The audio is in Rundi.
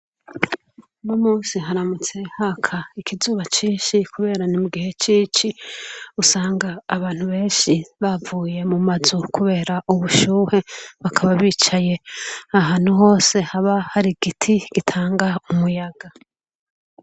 Uno munsi haramutse haka ikizuba ncinshi ,kubera ni mugihe c'ici usanga abantu benshi bavuye mu mazu, kubera ubushuhe bakaba bicaye ahantu hose haba har'igiti gitanga umuyaga.